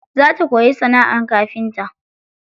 Za ta koyi sanaʼar kafinta.